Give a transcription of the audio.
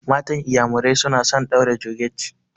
Matan iƴamurai suna son ɗaura georgette.